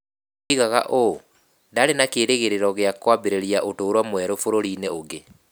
Oigaga ũũ: Ndaarĩ na kĩĩrĩgĩrĩro gĩa kwambĩrĩria ũtũũro mwerũ bũrũri-inĩ ũngĩ".